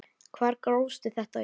Hvar grófstu þetta upp?